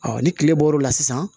ni tile bɔr'o la sisan